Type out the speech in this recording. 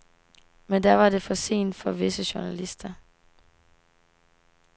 Men da var det for sent for visse journalister.